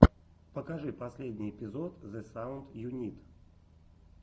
покажи последний эпизод зе саунд ю нид